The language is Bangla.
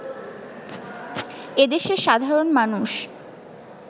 এদেশের সাধারণ মানুষ